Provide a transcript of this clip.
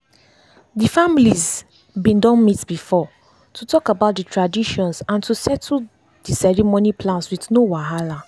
dey families been done meet before to talk about the traditions and to settle dey ceremony plans with no wahala.